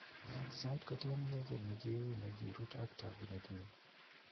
Sait ko tien keey kiiy ne wuu ne kirut ak taakunet niny.